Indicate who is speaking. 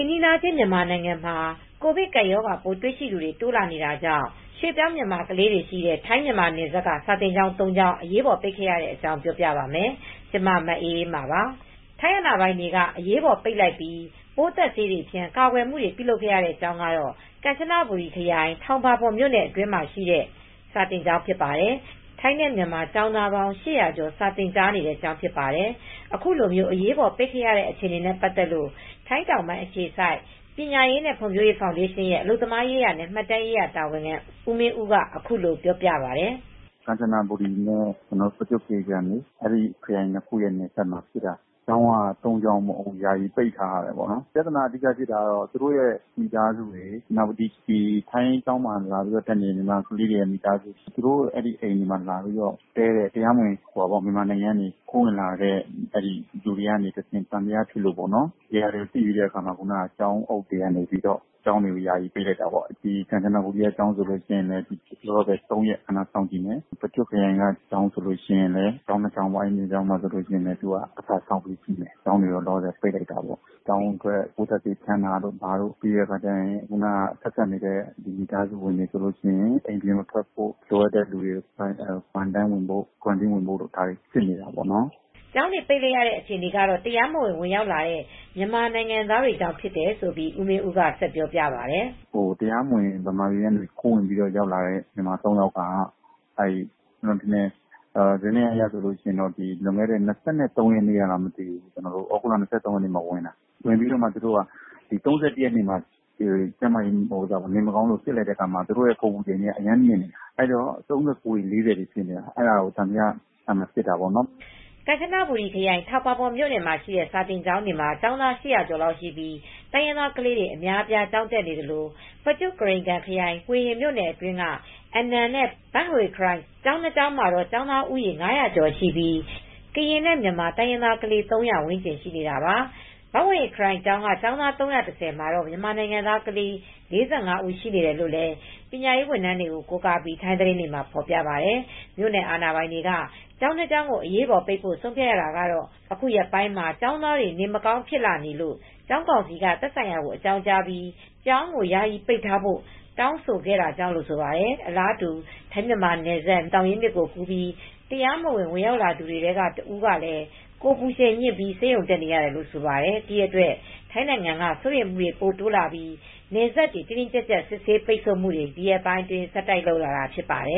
Speaker 1: မ်နီးချင်း မြန်မာနိုင်ငံမှာ ကိုဗစ်ကပ်ရောဂါပိုးရှိသူတွေ တိုးလာနေတာကြောင့် ရွှေပြောင်း မြန်မာကလေးတွေရှိတဲ့ ထိုင်း-မြန်မာနယ်စပ် စာသင်ကျောင်း ၃ကျောင်း အရေးပေါ်ပိတ်ခဲ့တဲ့ အကြောင်း ပြောပြပါမယ်။ VOA မြန်မာပိုင်းသတင်းထောက် မအေးအေးမာ ထိုင်း- မြန်မာနယ်စပ်ကနေ သတင်းပေးပို့ထားပါတယ်။ ထိုင်းအာဏာပိုင်တွေက အရေးပေါ်ပိတ်လိုက်ပြီး ပိုးသတ်ဆေးတွေဖြန်း ကာကွယ်မှုတွေ ပြုလုပ်ခဲ့ရတဲ့ ကျောင်းကတော့ ကမ်ချန ဘူရီ ခရိုင် ထောင်ပါပွန်း မြို့နယ် အတွင်း မှာရှိတဲ့ Ban Kui Yae စာသင်ကျောင်းဖြစ်ပါတယ်။ ထိုင်းနဲ့မြန်မာ ကျောင်းသားပေါင်း ၈၅၇ (၈၀၀ကျော်) စာသင်ကြားနေတဲ့ ကျောင်းဖြစ်ပါတယ်။ အခုလို အရေးပေါ်ပိတ်ခဲ့ရတာအခြေအနေနဲ့ ပတ်သက်လို့ထိုင်းတောင်ပိုင်း အခြေစိုက်ပညာရေးနဲ့ ဖွံ့ဖြိုးရေးဖောင်ဒေးရှင်းရဲ့ အလုပ်သမားရေးရာနဲ့ မှတ်တမ်းရေးရာတာဝန်ခံ ဦးမင်းဦးကပြောပြပါတယ်။
Speaker 2: “ကမ်ချနဘူရီနဲ့ ပကျွတ်ကရိန်ကန် ခရိုင်၂ခုရဲ့ နယ်စပ်တွေမှာ ဖြစ်တာ ကျောင်းက သုံးကျောင်းပေါ့။ ယာယီပိတ်ထားရတယ် ထိုင်းကျောင်းတွေပြဿနာဖြစ်တာကတော့ ထိုင်းကျောင်းမှာ တက်နေတဲ့ ကျောင်းသားတွေရဲ့ မိသားစုဝင်တွေရဲ့ အိမ်မှာ တရားမဝင် မြန်မာနိုင်ငံကနေ ခိုးဝင်လာသူတွေက တည်းတယ် အဲဒါကို သံသယဖြစ်လို့ပေါ့နော်။ ဒီဟာတွေသိပြီးတော့ ကျောင်းအုပ်တွေ ကျောင်းတွေက ယာယီ ပိတ်လိုက်ရတာပေါ့။ ကမ်ချနဘူရီက ၃ရက် ခဏစောင့်ကြည့်မယ်။ ပကျွတ်ကရိန်ကန်ဘက်က ကျောင်းတွေကတော့ ကျောင်း၂ကျောင်းကျတော့ တပတ်စောင့်ကြည့်မယ်။ ကျောင်းတွေပိတ်လိုက်တာပေါ့ ကျောင်းအတွက် ပိုးသတ်ဆေးဖြန်းတာတို့ ဆက်စပ်နေတဲ့ မိသားစုတွေ အပြင်မထွက်ဖို့ လိုအပ်တဲ့ စောင့်ကြည့်ရေး စင်တာတွေကို ဝင်ဖို့တွေ ဒါတွေစီစစ်နေတာပေါ့နော်။”
Speaker 1: ကျောင်းတွေ ပိတ်လိုက်ရတဲ့ အခြေအနေကတော့ တရားမဝင် ဝင်ရောက်တဲ့ မြန်မာသားတွေကြောင့် ဖြစ်တယ်လို့ ဦးမင်းဦးက ဆက်ပြောပြပါတယ်
Speaker 2: ။ “တရားမဝင်ခိုးဝင်လာတဲ့ မြန်မာသုံးယောက်က သြဂုတ်လ ၂၃ရက်မှာ ဝင်လာတယ် သူတို့ကို ၃၁ရက်နေ့မှာ နေမကောင်းလို့ စစ်လိုက်တာ ကိုယ်ပူချိန်စစ်လိုက်တဲ့ အခါမှာ အပူချိန် ၃၉ တွေ ၄၀တွေဖြစ်နေတယ်။ အဲဒါတွေကိုသံသယဖြစ်တာပေါ့နော်။”
Speaker 1: ကမ်ချန ဘူရီ ခရိုင် ထောင်ပါပွန်းမြို့နယ်အတွင်း မှာရှိတဲ့ Ban Kui Yae စာသင်ကျောင်းမှာကျောင်းသား ၈၀၀ကျော်ရှိပြီး တိုင်းရင်းသားကလေးတွေ အများအပြားကျောင်းတက်နေသလို့ ပကျွတ်ကရိန်ကန် ခရိုင် ဟွေဟင် မြို့နယ်အတွင်းက Anan နဲ့ Ban Huay Khrai ကျောင်းနှစ်ကျောင်း မှာတော့ကျောင်းသားဦးရေ ၅၀၀ကျော်ရှိပြီး ကရင်နဲ့ မြန်မာ တိုင်းရင်းသား ကလေး ၃၀၀ ဝန်းကျင်ရှိတာပါ။ ဘန့်ဟွေခရိုင် ကျောင်းမှာကျောင်းသား ၃၁၀မှာ မြန်မာနိုင်ငံ သားကလေး ၄၅ ဦးရှိနေတယ်လို့ လည်း ပညာရေးဝန်ထမ်းတွေကို ကိုးကားပြီး ထိုင်းသတင်းတွေမှာ ဖော်ပြပါတယ်။ မြို့နယ်အာဏာပိုင်တွေက ကျောင်းနှစ်ကျောင်းကိုအရေးပေါ်ပိတ်ဖို့ ဆုံးဖြတ်ရတာကတော့ အခုရက်ပိုင်းမှာ ကျေင်းသားတွေ နေမကောင်း ဖြစ်လာနေလို့ ကျောင်းကောင်စီက သက်ဆိုင်ရာ အကြောင်းကြားပြီး ကျောင်းကိုယာယီပိတ်ထားဖို့ တောင်းဆိုခဲ့တာကြောင့်လို့ဆိုပါတယ်။ အလာတူ ထိုင်း-မြန်မာနယ်စပ် မြဝတီသောင်ရင်းမြစ်ကို ကူးပြီးတရားမဝင် ဝင်လာသူတွေထဲက တဦးကလည်း ကိုယ်ပူချိန်မြင့်ပြီး ဆေးရုံ တက်နေရတယ်လို့ ဆိုပါတယ်။ ဒီအတွက် ထိုင်းနိုင်ငံက စိုးရိမ်မူတွေ ပိုတိုးလာပြီး နယ်စပ်တွေ တင်းတင်းကြပ်ကြပ်ပိတ်ဆို့ စစ်ဆေးမူတွေ ဒီရက်ပိုင်းအတွင်း ဆက်တိုက်လုပ်လာတာဖြစ်ပါတယ